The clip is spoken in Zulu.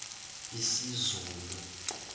isizulu